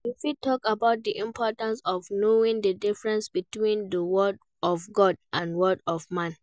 You fit talk about di importance of knowing di difference between di word of God and word of man.